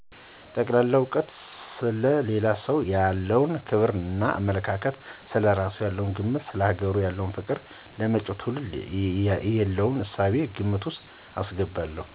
ጠቅላላ እውቀቱን፣ ሰለ ሌላ ሰው ያለው ክብር እና አመለካከት፣ ስለ እራሱ ያለው ግምት፣ ሰለ ሀገሩ ያለው ፍቅር፣ ለመጭው ትውልድ የለውን እሳቤ ግምት ወስጥ አስገባለሁ።